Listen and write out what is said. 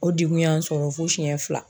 O degun y'an sɔrɔ fo siyɛ fila